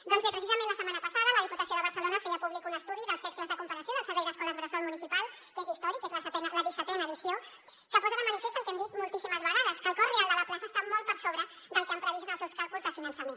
doncs bé precisament la setmana passada la diputació de barcelona feia públic un estudi dels cercles de comparació del servei d’escoles bressol municipal que és històric és la dissetena edició que posa de manifest el que hem dit moltíssimes vegades que el cost real de la plaça està molt per sobre del que han previst en els seus càlculs de finançament